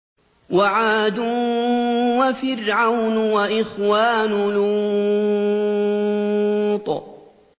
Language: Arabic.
وَعَادٌ وَفِرْعَوْنُ وَإِخْوَانُ لُوطٍ